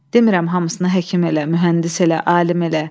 Demirəm hamısını həkim elə, mühəndis elə, alim elə.